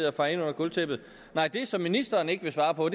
at feje ind under gulvtæppet nej det som ministeren ikke vil svare på